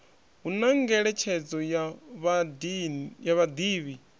hu na ngeletshedzo ya vhadivhi